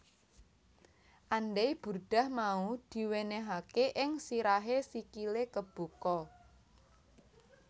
Andai burdah mau diwenehake ing sirahe sikile kebuka